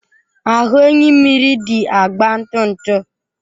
Ahụ enyimmiri dị agba ntụ ntụ.